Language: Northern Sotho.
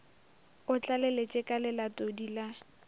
o tlaleletše ka lelatodi la